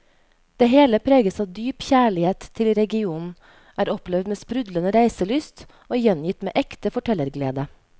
Det hele preges av dyp kjærlighet til regionen, er opplevd med sprudlende reiselyst og gjengitt med ekte fortellerglede.